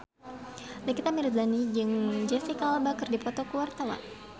Nikita Willy jeung Jesicca Alba keur dipoto ku wartawan